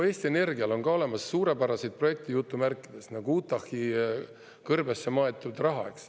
Eesti Energial on ka olemas "suurepäraseid projekte", nagu Utah' kõrbesse maetud raha.